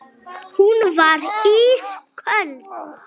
Hún varð ísköld.